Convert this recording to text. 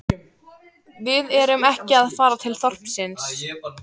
Við erum ekki að fara til þorpsins